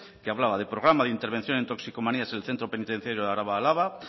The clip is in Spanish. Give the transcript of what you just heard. que hablaba de programa de intervención en toxicomanías en el centro penitenciario arabaálava